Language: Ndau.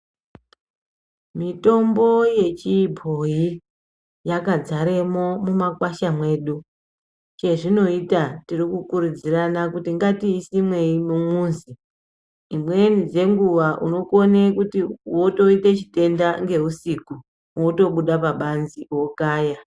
Mitombo yechibhoyi yakadzaramo mumakwasha mwedu chazvinoita tiri kukurudzirana kuti ngatiisemei mumuzi dzimweni dzenguwa unokona kuita chitenda nehusiku wotobuda pabanze wokaya.